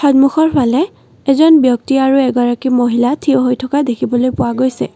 সন্মুখৰ ফালে এজন ব্যক্তি আৰু এগৰাকী মহিলা থিয় হৈ থকা দেখিবলৈ পোৱা গৈছে।